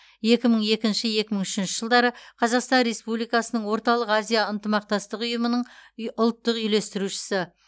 екі мың екінші екі мың үшінші жылдары қазақстан республикасының орталық азия ынтымақтастығы ұй ұйымының ұлттық үйлестірушісі